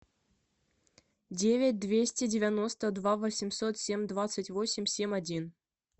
девять двести девяносто два восемьсот семь двадцать восемь семь один